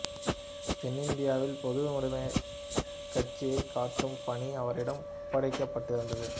தென்னிந்தியாவில் பொதுவுடமைக் கட்சியைக் கட்டும் பணி அவரிடம் ஒப்படைக்கப் பட்டிருந்தது